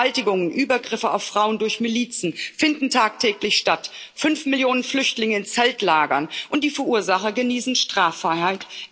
Vergewaltigungen, Übergriffe auf Frauen durch Milizen finden tagtäglich statt, fünf Millionen Flüchtlinge in Zeltlagern und die Verursacher genießen Straffreiheit.